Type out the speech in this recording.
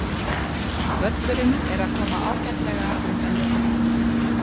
Völlurinn er að koma ágætlega undan vetri.